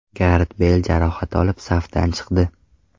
Garet Beyl jarohat olib, safdan chiqdi.